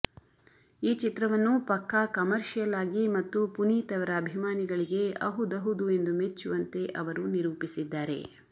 ಈ ಚಿತ್ರವನ್ನು ಪಕ್ಕಾ ಕಮರ್ಷಿಯಲ್ ಆಗಿ ಮತ್ತು ಪುನೀತ್ ಅವರ ಅಭಿಮಾನಿಗಳಿಗೆ ಅಹುದಹುದು ಎಂದು ಮೆಚ್ಚುವಂತೆ ಅವರು ನಿರೂಪಿಸಿದ್ದಾರೆ